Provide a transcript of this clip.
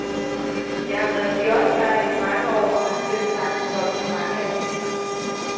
Jeg har været kioskejer i mange år og har selvsagt solgt mange aviser.